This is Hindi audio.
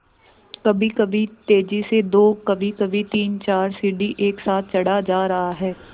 कभीकभी तेज़ी से दो कभीकभी तीनचार सीढ़ी एक साथ चढ़ा जा रहा है